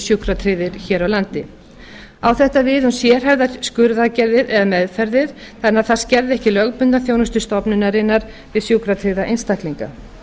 sjúkratryggðir hér á landi á þetta við um sérhæfðar skurðaðgerðir eða meðferðir þannig að það skerði ekki lögbundna þjónustu stofnunarinnar við sjúkratryggða einstaklinga